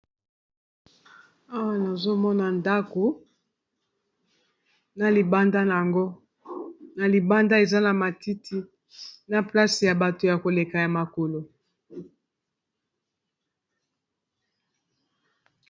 awa nazomona ndako na libanda na yango na libanda eza na matiti na place ya bato ya koleka ya makolo